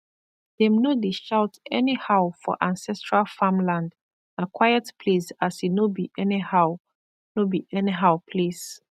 dem no dey shout anyhow for ancestral farmland naquiet place as e no be anyhow no be anyhow place